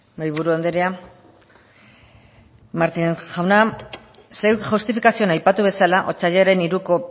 mahaiburu andrea martinez jauna zeuk justifikazioan aipatu bezala otsailaren hiruko